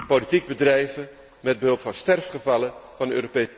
Politiek bedrijven met behulp van sterfgevallen van de